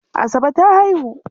Asabe ta haihu.